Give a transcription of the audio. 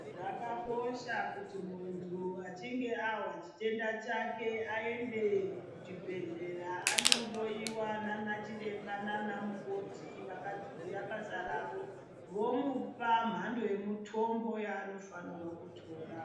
Zvakakosha kuti muntu achinge ahwa chitenda chake aende kuchibhedhleya andohloyiwa nanachiremba nanamukoti vakadzidzira basa ravo vomupa mhando yemutombo yaanofanirwa kutora.